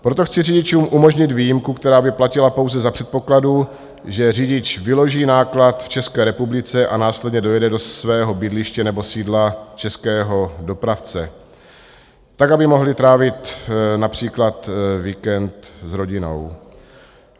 Proto chci řidičům umožnit výjimku, která by platila pouze za předpokladu, že řidič vyloží náklad v České republice a následně dojede do svého bydliště nebo sídla českého dopravce tak, aby mohli trávit například víkend s rodinou.